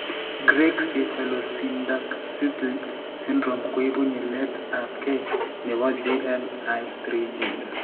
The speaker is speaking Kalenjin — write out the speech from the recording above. Greig cephalopolysyndactyly syndrome koibu nyilet ab gei nebo GLI3 gene